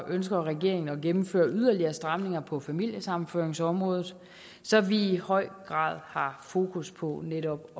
ønsker regeringen at gennemføre yderligere stramninger på familiesammenføringsområdet så vi i høj grad har fokus på netop